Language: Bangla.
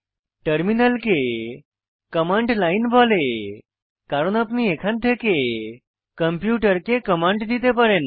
টার্মিনাল কে কমান্ড লাইন বলে কারণ আপনি এখান থেকে কম্পিউটাকে কমান্ড দিতে পারেন